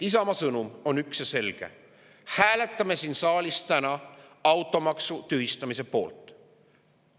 Isamaa sõnum on üks ja selge: hääletame siin saalis täna automaksu tühistamise poolt.